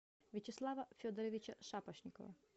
вячеслава федоровича шапошникова